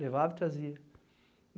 levava e trazia.